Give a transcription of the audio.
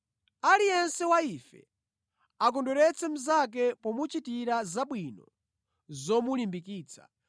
Aliyense wa ife akondweretse mnzake pomuchitira zabwino zomulimbikitsa.